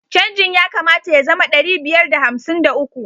Canjin ya kamata ya zama ɗari biyar da hamsin da uku.